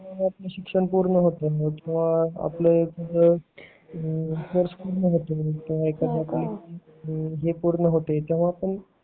परत मग आपल शिक्षण पूर्ण होतंय मग कोर्स पूर्ण होतंय मग तेव्हा आपण